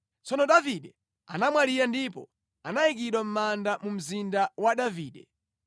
Tsono Davide anamwalira ndipo anayikidwa mʼmanda mu Mzinda wa Davide.